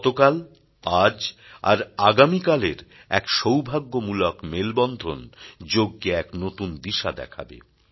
গতকাল আজ আর আগামী কাল এর এক সৌভাগ্যমূলক মেলবন্ধন যোগকে এক নতুন দিশা দেখাবে